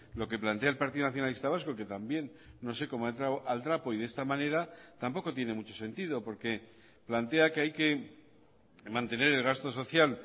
lo que plantea el partido nacionalista vasco que también no sé como ha entrado al trapo y de esta manera tampoco tiene mucho sentido porque plantea que hay que mantener el gasto social